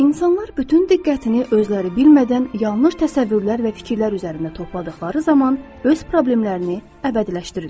İnsanlar bütün diqqətini özləri bilmədən yanlış təsəvvürlər və fikirlər üzərində topladıqları zaman öz problemlərini əbədiləşdirirlər.